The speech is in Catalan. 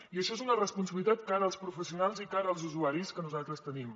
i això és una responsabilitat cara als professionals i cara als usuaris que nosaltres tenim